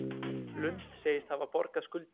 Lund segist hafa borgað skuldir